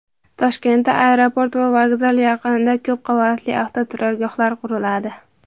Toshkentda aeroport va vokzal yaqinida ko‘p qavatli avtoturargohlar quriladi.